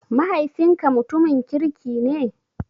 Mahaifinka mutumin kirki ne?